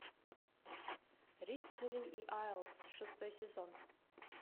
рыцари и айлс шестой сезон